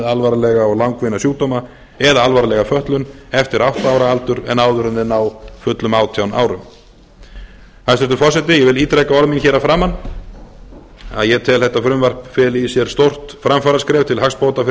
alvarlega og langvinna sjúkdóma eða alvarlega fötlun aftur átta ára aldur en áður en þeir ná fullum átján árum hæstvirtur forseti ég vil ítreka orð mín hér að framan að ég tel að þetta frumvarp feli í sér stórt framfaraskref til hagsbóta fyrir